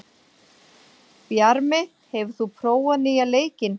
Bjarmi, hefur þú prófað nýja leikinn?